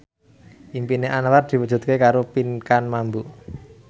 impine Anwar diwujudke karo Pinkan Mambo